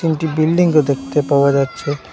একটি বিল্ডিংও দেখতে পাওয়া যাচ্ছে।